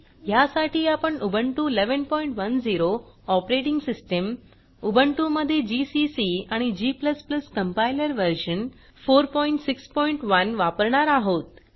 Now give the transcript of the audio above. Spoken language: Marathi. ह्यासाठी आपण उबुंटू 1110 ऑपरेटिंग सिस्टीम उबुंटु मध्ये जीसीसी आणि g कंपाइलर व्हर्शन 461 वापरणार आहोत